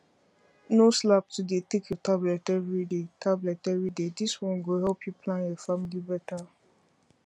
no slack to dey take your tablet everyday tablet everyday this one go help you plan your family better